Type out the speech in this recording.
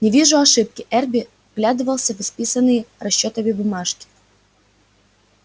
не вижу ошибки эрби вглядывался в исписанные расчётами бумажки